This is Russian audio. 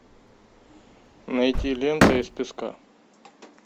найти лента из песка